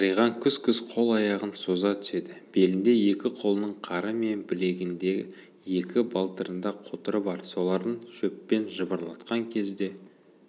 сыриған күс-күс қол-аяғын соза түседі белінде екі қолының қары мен білегінде екі балтырында қотыры бар соларын шөппен жыбырлатқан кезде